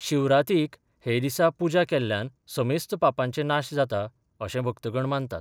शिवरातीक हे दिसा पुजा केल्ल्यान समेस्त पापांचे नाश जाता अशें भक्तगण मानतात.